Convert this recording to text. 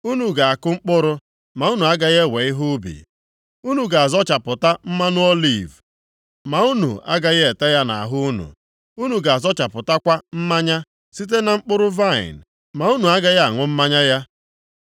Unu ga-akụ mkpụrụ, ma unu agaghị ewe ihe ubi, unu ga-azọchapụta mmanụ oliv, ma unu agaghị ete ya nʼahụ unu; unu ga-azọchapụtakwa mmanya site na mkpụrụ vaịnị, ma unu agaghị aṅụ mmanya ya.